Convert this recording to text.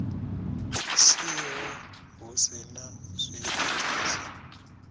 siho hu si na zwiitisi